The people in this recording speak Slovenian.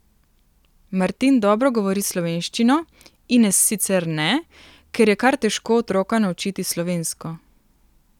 Martin dobro govori slovenščino, Ines sicer ne, ker je kar težko otroka naučiti slovensko.